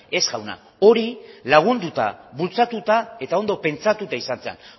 ez jauna hori lagunduta bultzatuta eta ondo pentsatuta izan zen